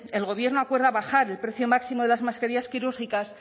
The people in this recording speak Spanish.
el gobierno acuerda bajar el precio máximo de las mascarillas quirúrgicas